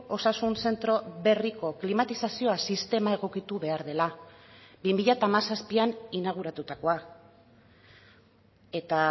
osasun zentro berriko klimatizazioa sistema egokitu behar dela bi mila hamazazpian inauguratutakoa eta